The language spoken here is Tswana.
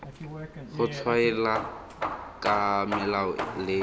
go tshwaela ka melao le